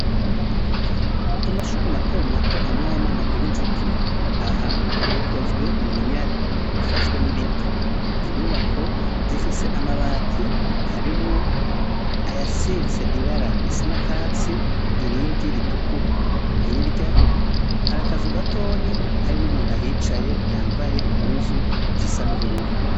Amashure matomato amwamwe ntagira inzitiro. Aha rukozwe mu minyare ifashwe n'ibiti. Inyubako zifise amabati harimwo ayasize ibara risa n'akatsi irindi ritukura hirya hari akazu gatonyi hari n'umuntu ahicaye yambaye impuzu zisa n'ubururu.